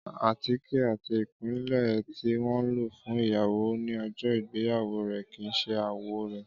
Átíké ati ipilẹ ti wọn lo fun iyawo ni ọjọ igbeyawo rẹ kii ṣe awọ rẹ.